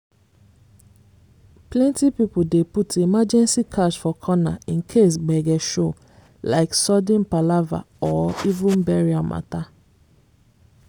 plenty people dey put emergency cash for corner in case gbege show—like sudden palava or even burial matter.